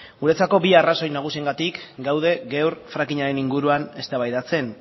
guretzako bi arrazoi nagusiengatik gaude gaur frackingaren inguruan eztabaidatzen